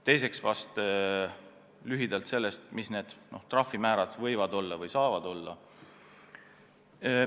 Teiseks vahest lühidalt sellest, mis võiksid või saaksid trahvimäärad olla.